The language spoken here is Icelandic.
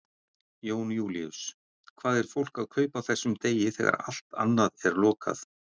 Jón Júlíus: Hvað er fólk að kaupa á þessum degi þegar allt annað er lokað?